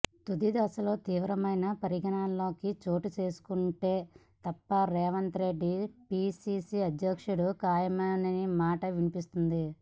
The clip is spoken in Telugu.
తుది దశలో తీవ్రమైన పరిణామాలు చోటు చేసుకుంటే తప్ప రేవంత్ రెడ్డి పీసీసీ అధ్యక్షుడు ఖాయమనే మాట వినిపిస్తోంది